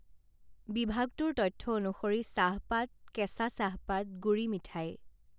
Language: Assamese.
বিভাগটোৰ তথ্য অনুসৰি চাহপাত কেঁচা চাহপাত গুড়ি মিঠাই